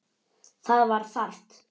Það var þarft.